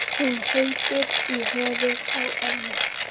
Hún heitir í höfuðið á ömmu.